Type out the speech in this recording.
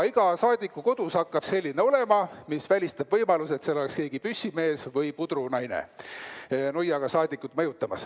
Iga saadiku kodus hakkab selline olema ja see välistab ka võimaluse, et seal keegi püssimees või pudrunaine nuiaga saadikut mõjutab.